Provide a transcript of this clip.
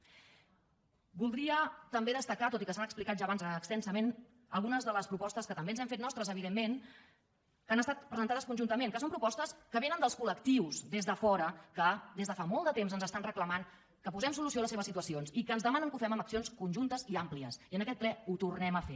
voldria també destacar tot i que s’han explicat ja abans extensament algunes de les propostes que també ens hem fet nostres evidentment que han estat presentades conjuntament que són propostes que vénen dels col·lectius des de fora que des de fa molt de temps ens reclamen que posem solució a les seves situacions i que ens demanen que ho fem amb accions conjuntes i àmplies i en aquest ple ho tornem a fer